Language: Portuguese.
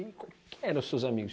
E quem eram os seus amigos?